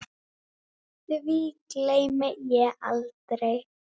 Því gleymi ég aldrei.